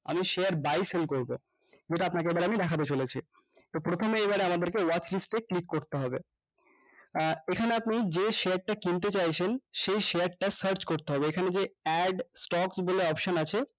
আমি share buy sell করবো যেটা আপনাকে এবার আমি দেখতে চলেছি তো প্রথমে এইবার আমাদেরকে worklist এ click করতে হবে আহ এখানে আপনি যে share টা কিনতে চাইছেন সেই share টা search করতে হবে এখানে যে add stock বলে option আছে